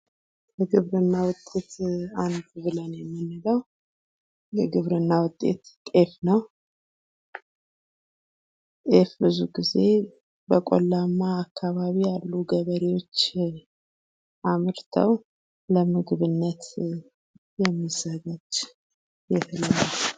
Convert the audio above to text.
ከግብርና ምርቶች አንዱ ጤፍ ነው። ጤፍ ብዙ ጊዜ በቆላማ አካባቢ ያሉ ገበሬዎች አምርተው ለምግብነት የሚዘጋጅ የህል አይነት ነው።